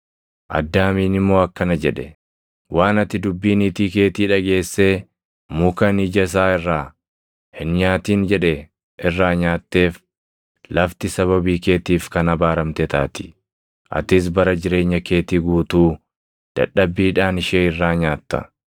Addaamiin immoo akkana jedhe; “Waan ati dubbii niitii keetii dhageessee muka ani ija isaa irraa, ‘hin nyaatin’ jedhe irraa nyaatteef, “Lafti sababii keetiif kan abaaramte taati; atis bara jireenya keetii guutuu dadhabbiidhaan ishee irraa nyaatta.